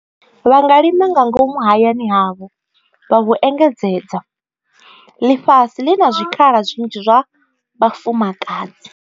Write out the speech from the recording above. Vha nga lima nga ngomu hayani havho vha hu engedzedza. Ḽifhasi ḽi na zwikhala zwinzhi zwa vhafumakadzi.